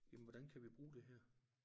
Jamen hvordan kan vi bruge det her